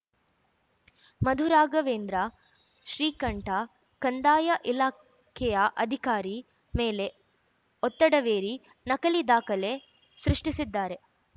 ಮಧು ರಾಘವೇಂದ್ರ ಶ್ರೀಕಂಠ ಕಂದಾಯ ಇಲಾಖೆಯ ಅಧಿಕಾರಿ ಮೇಲೆ ಒತ್ತಡವೇರಿ ನಕಲಿ ದಾಖಲೆ ಸೃಷ್ಟಿಸಿದ್ದಾರೆ